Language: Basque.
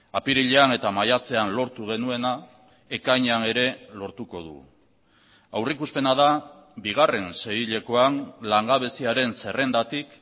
apirilean eta maiatzean lortu genuena ekainean ere lortuko dugu aurrikuspena da bigarren seihilekoan langabeziaren zerrendatik